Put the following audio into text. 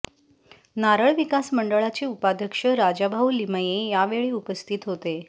नारळ विकास मंडळाचे उपाध्यक्ष राजाभाऊ लिमये यावेळी उपस्थित होते